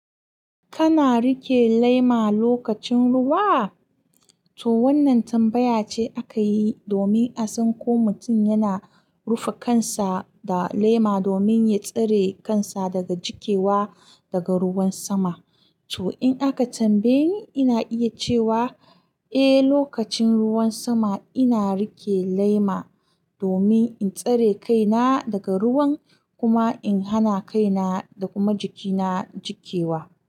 Kana rike lema lokacin ruwa? To wannan tambaya ce aka yi domin a san ko mutum yana rufe kansa da lema domin ya tsare kansa daga jikewa daga ruwan sama. To in aka tambaye ni, ina iya cewa eh, lokacin ruwan sama ina rike lema domin in tsare kaina daga ruwan kuma in hana kaina da kuma jikina jikewa.